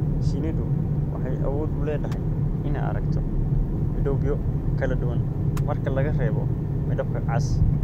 Shinnidu waxay awood u leedahay inay aragto midabyo kala duwan, marka laga reebo midabka cas.